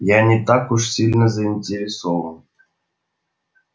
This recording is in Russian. я не так уж сильно заинтересован